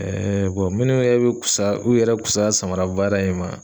minnu yɛrɛ bɛ kusa u yɛrɛ fusaya samara baara in ma